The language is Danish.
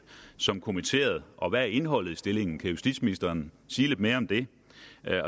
som kommitteret og hvad er indholdet i stillingen kan justitsministeren sige lidt mere om det